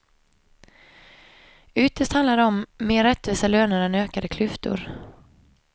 Ytterst handlar det om mer rättvisa löner än ökade klyftor.